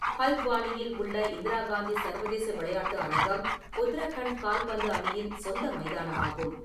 ஹல்த்வானியில் உள்ள இந்திரா காந்தி சர்வதேச விளையாட்டு அரங்கம் உத்தரகண்ட் கால்பந்து அணியின் சொந்த மைதானமாகும்.